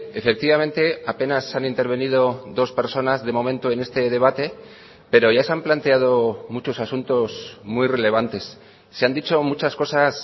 efectivamente apenas han intervenido dos personas de momento en este debate pero ya se han planteado muchos asuntos muy relevantes se han dicho muchas cosas